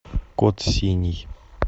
код синий